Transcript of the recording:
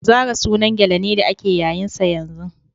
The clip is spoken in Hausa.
Zara sunan gele ne da ake yayin sa yanzu.